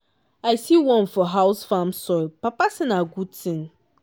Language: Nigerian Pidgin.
i see worm for house farm soil papa say na good thing.